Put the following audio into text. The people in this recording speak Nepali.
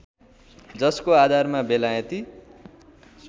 जसको आधारमा बेलायती